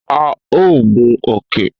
A o gun òkè